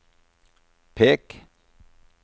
pek